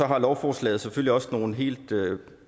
har lovforslaget selvfølgelig også noget om helt